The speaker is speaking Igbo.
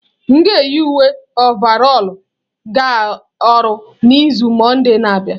M ga-eyi uwe ọvarọlụ ga ọrụ n'izu mọnde na-abịa